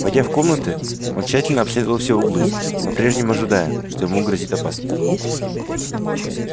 войдя в комнаты он тщательно обследовал все углы по прежнему ожидая что ему грозит опасность